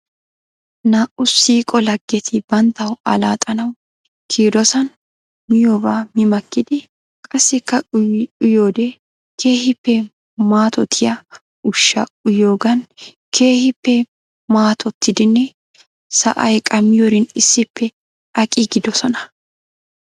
Naa'u siiqo laggeti banttaw allaxxanaw kiyidosan miyoobaa mi makkidi qassikka uyoode keehippe mattoyiyaa ushshaa uyiyoogan keehippe mattottidinne sa'ay qammiyoorin issippe aqiigidosona.